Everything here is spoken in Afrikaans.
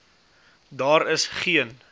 daar is geen